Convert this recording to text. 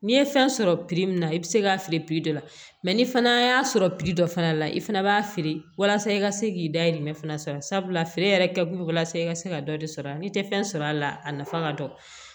N'i ye fɛn sɔrɔ min na i bɛ se k'a feere dɔ la mɛ ni fana y'a sɔrɔ dɔ fana la i fana b'a feere walasa i ka se k'i dayirimɛ fana sɔrɔ sabula feere yɛrɛ kɛ bolo walasa i ka se ka dɔ de sɔrɔ n'i tɛ fɛn sɔrɔ a la a nafa ka dɔgɔ